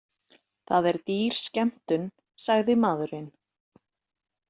Það er dýr skemmtun, sagði maðurinn.